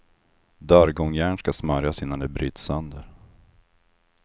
Dörrgångjärn ska smörjas innan de bryts sönder.